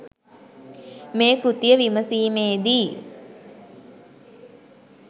මේ කෘතිය විමසීමේදී